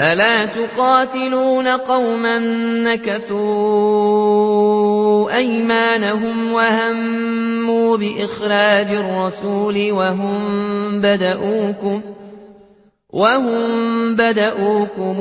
أَلَا تُقَاتِلُونَ قَوْمًا نَّكَثُوا أَيْمَانَهُمْ وَهَمُّوا بِإِخْرَاجِ الرَّسُولِ وَهُم بَدَءُوكُمْ